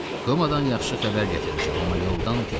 Kumadan yaxşı xəbər gətirmişəm, amma yoldan pis.